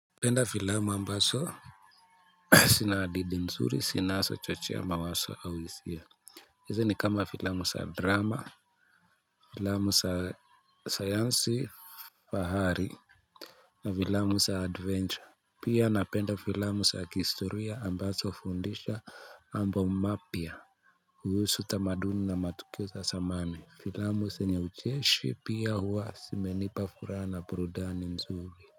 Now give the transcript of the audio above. Penda filamu ambazo zinahadithi mzuri zinazo chochea mawazo au hisiya hizi ni kama filamu za drama filamu za sayansi fahari. Na filamu sa adventure. Pia na penda filamu sa kihistoriya ambazo hufundisha mambo mapyia kuhusu tamaduni na matukio sa samani. Filamu senye ucheshe pia huwa simenipa furaha na burudani mzuri.